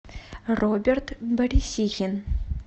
роберт борисихин